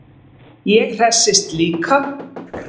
Ég hresstist líka.